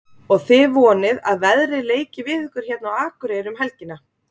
Og þið vonið að veðrið leiki við ykkur hérna á Akureyri um helgina?